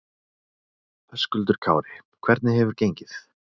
Höskuldur Kári: Hvernig hefur gengið?